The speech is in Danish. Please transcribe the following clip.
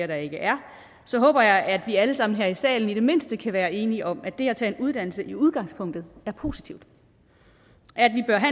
der ikke er så håber jeg at vi alle sammen her i salen i det mindste kan være enige om at det at tage en uddannelse i udgangspunktet er positivt